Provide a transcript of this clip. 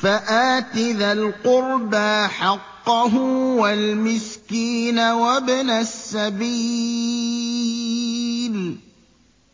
فَآتِ ذَا الْقُرْبَىٰ حَقَّهُ وَالْمِسْكِينَ وَابْنَ السَّبِيلِ ۚ